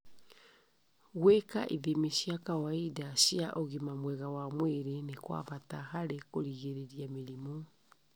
Gũika ithimi cia kawaida cia ũgima mwega wa mwĩrĩ nĩ kwa bata harĩ kũgirĩrĩria mĩrimũ.